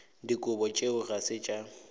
dikobo tšeo ga se tša